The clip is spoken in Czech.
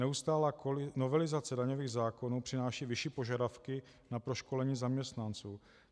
Neustálá novelizace daňových zákonů přináší vyšší požadavky na proškolení zaměstnanců.